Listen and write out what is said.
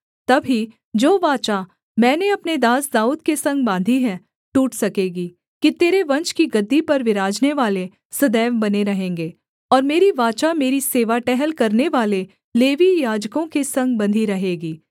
तब ही जो वाचा मैंने अपने दास दाऊद के संग बाँधी है टूट सकेगी कि तेरे वंश की गद्दी पर विराजनेवाले सदैव बने रहेंगे और मेरी वाचा मेरी सेवा टहल करनेवाले लेवीय याजकों के संग बँधी रहेगी